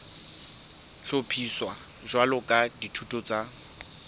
hlophiswa jwalo ka dithuto tsa